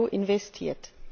EUR investiert.